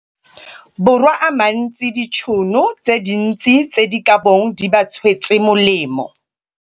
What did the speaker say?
Borwa a mantsi dintšhono tse dintsi tse di ka bong di ba tswetse molemo.